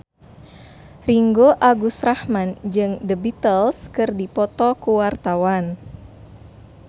Ringgo Agus Rahman jeung The Beatles keur dipoto ku wartawan